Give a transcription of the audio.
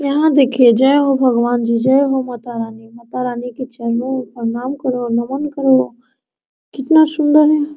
यहाँ देखिए जय हो भगवान जी जय हो माता रानी माता रानी के चरणों में प्रणाम करो नमन करो कितना सुंदर है।